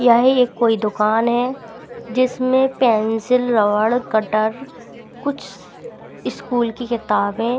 यह कोई दुकान है जिसमें पेंसिल रबर कटर कुछ स्कूल की किताबें--